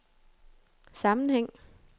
sammenhæng